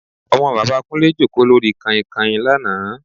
Ọmọ bàbá Kúnlé jókòó lórí Kanhinkanhin lánàá